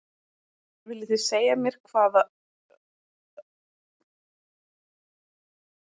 Viljið þið segja mér hvað öll lönd í heiminum heita?